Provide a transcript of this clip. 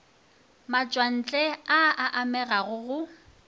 matšwantle a a amega go